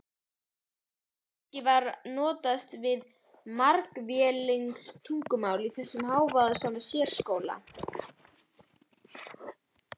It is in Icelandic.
Kannski var notast við margvísleg tungumál í þessum hávaðasama sérskóla?